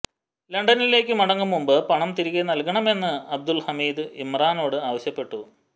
ലണ്ടനിലേക്ക് മടങ്ങും മുൻപ് പണം തിരികെ നൽകണമെന്ന് അബ്ദുൽ ഹമീദ് ഇമ്രാനോട് ആവശ്യപ്പെട്ടു